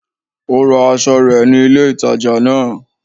Ó ra aso rè ni ilé ìtajà náà